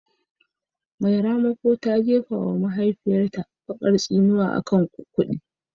Mai ramako ta jefa wa mahaifiyarta bakar tsinuwa akan kudi